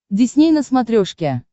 дисней на смотрешке